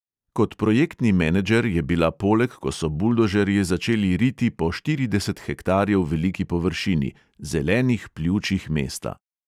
Kot projektni menedžer je bila poleg, ko so buldožerji začeli riti po štirideset hektarjev veliki površini – zelenih pljučih mesta.